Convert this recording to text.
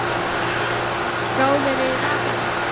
Gáðirðu í vasana?